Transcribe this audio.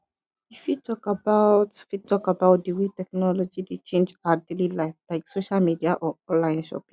you fit talk about fit talk about di way technology dey change our daily life like social media or online shopping